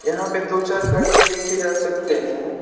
यहां पे दो चार घर भी देखे जा सकते है।